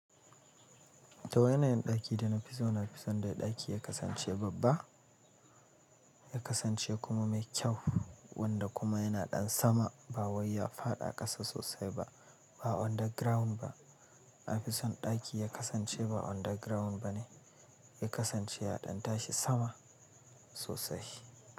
To yanayin ɗaki dana fi so? Na fi son da ɗaki ya kasance babba, ya kasance kuma mai kyau, wanda kuma yana ɗan sama ba wai ya faɗa a ƙasa sosai ba, ba underground ba. Nafi son ɗaki ya kasance ba underground ba ne, ya kasance ya ɗan tashi sama sosai.